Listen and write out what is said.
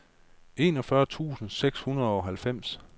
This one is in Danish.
enogfyrre tusind seks hundrede og halvfems